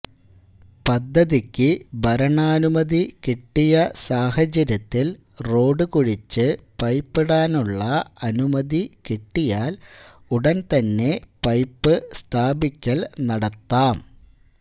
പദ്ധതിക്ക് ഭരണാനുമതി കിട്ടിയ സാഹചര്യത്തിൽ റോഡ് കുഴിച്ച് പൈപ്പ് ഇടാനുള്ള അനുമതി കിട്ടിയാൽ ഉടൻ തന്നെ പൈപ്പ് സ്ഥാപിക്കൽ നടത്താം